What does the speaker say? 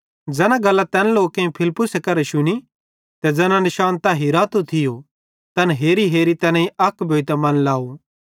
ज़ैना गल्लां तैन लोकेईं फिलिप्पुसेरी करां शुनी ते ज़ैना निशान तै हिरातो थियो तैन हेरीहेरी तैनेईं अक भोइतां मन लाव